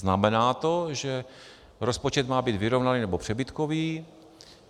- Znamená to, že rozpočet má být vyrovnaný nebo přebytkový.